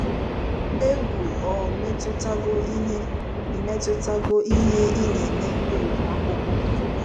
Egwu o metụtago ihe ị metụtago ihe ị na-eme n'ụlọ akwụkwọ.